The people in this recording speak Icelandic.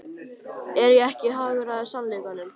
Er ég ekki að hagræða sannleikanum?